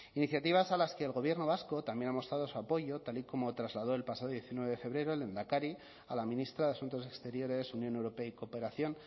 iniciativas a las que el gobierno vasco también ha mostrado su apoyo tal y como trasladó el pasado diecinueve de febrero el lehendakari a la ministra de asuntos exteriores unión europea y cooperación